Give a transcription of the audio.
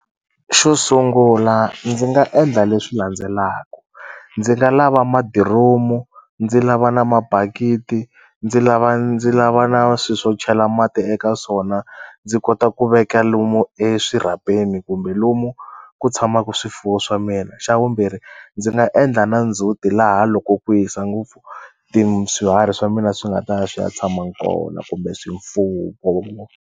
Xo sungula ndzi nga endla leswi landzelaku ndzi nga lava madiromu ndzi lava na mabakiti ndzi lava ndzi lava na swi swo chela mati eka swona ndzi kota ku veka lomu eswirhapeni kumbe lomu ku tshamaku swifuwo swa mina xa vumbirhi ndzi nga endla na ndzhuti laha loko ku hisa ngopfu swiharhi swa mina swi nga ta ya swi ya tshama kona kumbe .